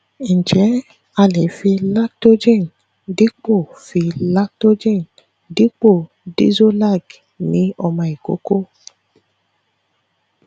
njẹ a le fi lactogen dipo fi lactogen dipo dexolac ni ọmọ ikoko